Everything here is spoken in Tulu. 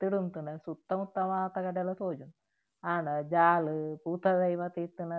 ಮಿತ್ತ್ ಡ್ ಉಂತುಂಡ ಸುತ್ತ ಮುತ್ತ ಮಾತ ಕಡೆಲ ತೋಜುಂಡು ಆಂಡ ಜಾಲ್ ಪೂತ್ತ ದೈ ಮಾತ ಇತ್ತ್ಂಡ.